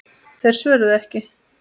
Þeir svöruðu ekki.